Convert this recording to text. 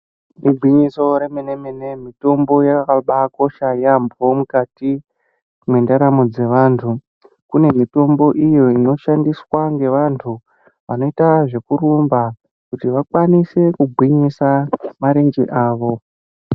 Igwinyiso remene mene mitombo yakabakosha yambo mukati mwendaramo dzevantu, kune mitombo iyo inoshandiswa ngevantu vanoita zvekurumba kuti vakwanise kugwinyisa marenje avo.